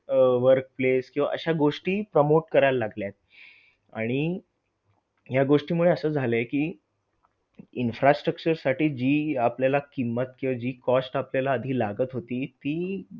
अह work place अशा गोष्टी promote करायला लागल्यात आणि ह्या गोष्टीमुळे असं झालंय कि infrastructure साठी जी आपल्याला किंमत किंवा जी cost आपल्याला आधी लागत होती ती,